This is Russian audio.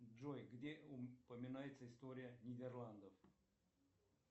джой где упоминается история нидерландов